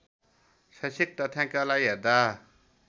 शैक्षिक तथ्याङ्कलाई हेर्दा